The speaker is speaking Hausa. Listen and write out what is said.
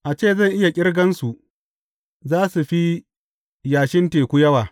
A ce zan iya ƙirgansu, za su fi yashin teku yawa.